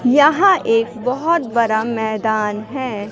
यहां एक बहोत बड़ा मैदान है।